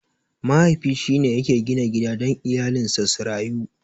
Mahaifi shine yake gina gida dan iyalinsa su rayu.